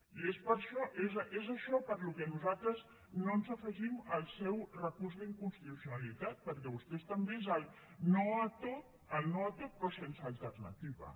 i és per això que nosaltres no ens afegim al seu recurs d’inconstitucionalitat perquè per vostès també és el no a tot però sense alternativa